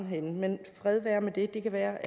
henne men fred være med det det kan være